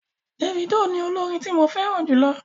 Dèfídò ni olórin tí mo fẹ́ràn jù.